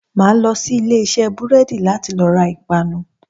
Màá lo sí Ilé isé búrédì láti lo ra ìpanu